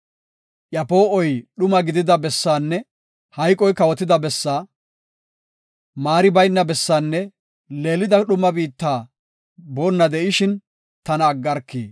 iya poo7oy dhuma gidida bessaanne hayqoy kawotida bessaa, maari bayna bessaanne leelida dhuma biitta boonna de7ishin, tana aggarki!”